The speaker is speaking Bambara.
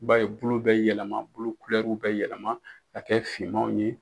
I b'a ye bolow bɛ yɛlɛma bolow kulɛriw bɛ yɛlɛma ka kɛ finmanw ye.